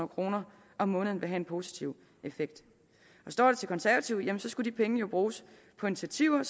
kroner om måneden vil have en positiv effekt står det til konservative skulle de penge jo bruges på initiativer